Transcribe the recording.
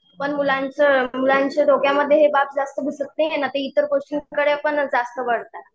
पण मुलांचं मुलांच्या डोक्यामध्ये हे बाब जास्त घुसत नाहीये ना, आता इतर गोष्टींकडेपण जास्त वळतात.